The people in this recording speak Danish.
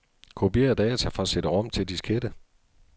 Kopier data fra cd-rom til diskette.